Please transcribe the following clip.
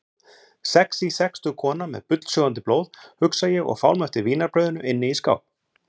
Sexí sextug kona með bullsjóðandi blóð, hugsa ég og fálma eftir vínarbrauðinu inni í skáp.